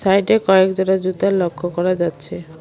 সাইডে কয়েকজোড়া জুতা লক্ষ করা যাচ্ছে।